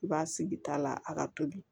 I b'a sigi ta la a ka toli